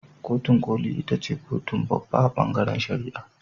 Kotun koli ita ce kotun babba a bangaren shari'a.